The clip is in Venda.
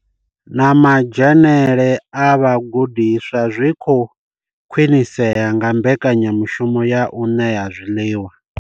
Na madzhenele a vhagudiswa zwi khou khwinisea nga mbekanya mushumo ya u ṋea zwiḽiwa.